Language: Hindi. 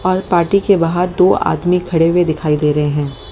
और पार्टी के बाहर दो आदमी खड़े हुए दिखाई दे रहे हैं।